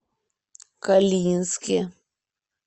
калининске